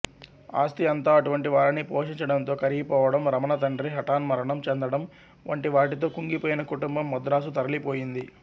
ఆస్తి అంతా అటువంటివారిని పోషించడంతో కరిగిపోవడం రమణ తండ్రి హఠాన్మరణం చెందడం వంటివాటితో కుంగిపోయిన కుటుంబం మద్రాసు తరలిపోయింది